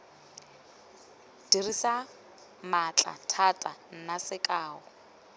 dirisa maatla thata nna sekao